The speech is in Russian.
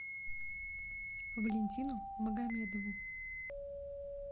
валентину магомедову